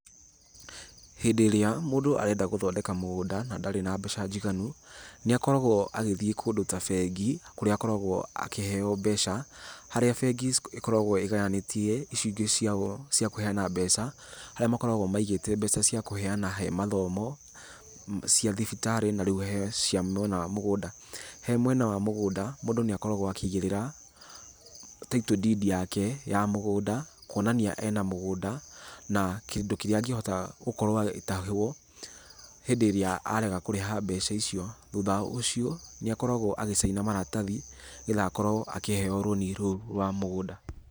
Hindĩ ĩrĩa mũndũ arenda gũthondeka mũgũnda na ndarĩ na mbeca njiganu, nĩ akoragwo agĩthiĩ kũndũ ta bengi, kũrĩa akoragwo akĩheo mbeca, harĩa bengi ĩkoragwo ĩgayanĩtie icunjĩ cia kũheana mbeca harĩa makoragwo maigĩte mbeca cikũheana he mathomo, cia thibitarĩ na rĩu he cia mwena wa mũgũnda. He mwena wa mũgũnda, mũndũ nĩ akoragwo akĩigĩrĩra title deed yake ya mũgũnda kũonania ena mũgũnda, na kĩndũ kĩrĩa angĩhota gũkorwo agĩtahwo hĩndĩ ĩrĩa arega kũrĩha mbeca icio. Thutha wa ũcio, nĩ akoragwo agĩciana maratathi nĩgetha akorwo akĩheo rũni rũu rwa mũgũnda.